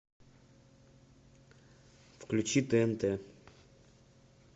включи тнт